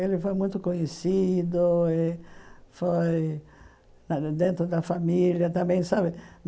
Ele foi muito conhecido eh foi dentro da família também sabe.